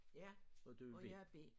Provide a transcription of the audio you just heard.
Ja og jeg er B